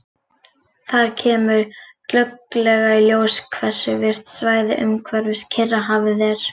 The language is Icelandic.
Þar kemur glögglega í ljós hversu virkt svæðið umhverfis Kyrrahafið er.